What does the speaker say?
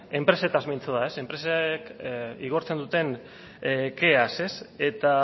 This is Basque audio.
enpresetaz mintzo da enpresek igortzen duten keaz eta